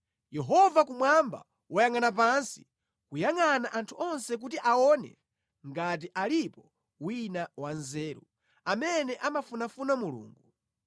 Yehova kumwamba wayangʼana pansi, kuyangʼana anthu onse kuti aone ngati alipo wina wanzeru, amene amafunafuna Mulungu.